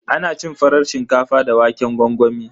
Ana cin farar shinkafa da waƙen gwangwami.